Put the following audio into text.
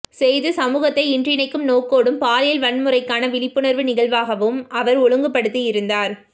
செய்து சமூகத்தை இன்றினைக்கும் நோக்கோடும் பாலியல் வன்முறைகான விழிப்புணர்வு நிகழ்வாகவும் அவர் ஒழுங்கு படுத்தி இருந்தார்